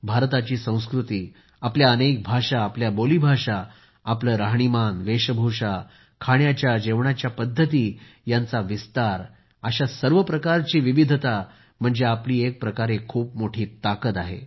भारताची संस्कृती आपल्या अनेक भाषा आपल्या बोलीभाषा आपले राहणे वेशभूषा खाण्याच्या जेवणाच्या पद्धती यांचा विस्तार अशा सर्व प्रकारची विविधता म्हणजे आपली एक प्रकारे खूप मोठी ताकद आहे